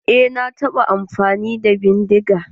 Eh na taɓa amfani da bindiga.